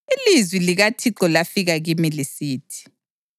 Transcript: Ilizwi likaThixo lafika kimi lisithi: